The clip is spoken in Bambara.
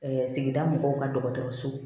sigida mɔgɔw ka dɔgɔtɔrɔso